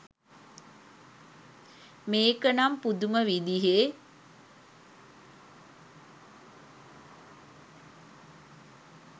මේක නම් පුදුම විදිහෙ